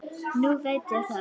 Nú veit ég það.